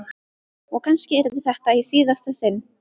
Og kannski yrði þetta í síðasta sinn.